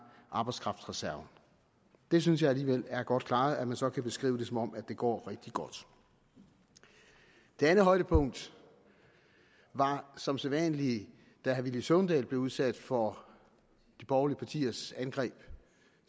arbejdskraftreserven det synes jeg alligevel er godt klaret at man så kan beskrive det som om det går rigtig godt det andet højdepunkt var som sædvanlig da herre villy søvndal blev udsat for de borgerlige partiers angreb